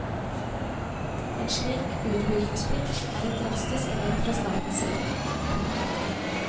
En slik utbyggingsplikt er et drastisk grep fra statens side. punktum